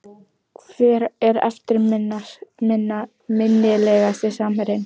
Hver er eftirminnilegasti samherjinn?